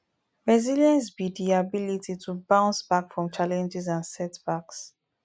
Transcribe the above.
resilience be di ability to bounce back from challenges and setbacks